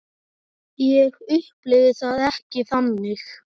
Ég upplifi það ekki þannig.